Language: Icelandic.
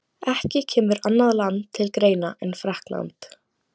Ekki kemur annað land til greina en Frakkland.